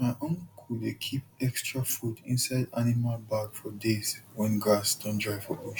my uncle dey keep extra food inside animal bag for days when grass don dry for bush